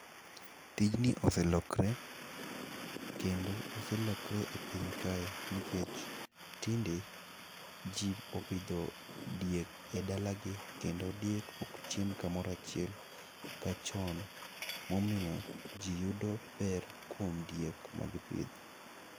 Tijni oselokre kendo oselokre e piny kae nikech tinde ,ji opidho diek e dalagi kendo diek ok chiem kamoro achiel ka chon ,momiyo ji yudo ber kuom diek magipidho.